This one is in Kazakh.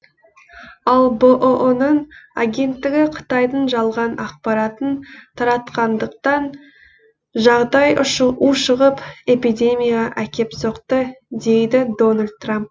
ал бұұ ның агенттігі қытайдың жалған ақпаратын таратқандықтан жағдай ушығып эпидемияға әкеп соқты дейді дональд трамп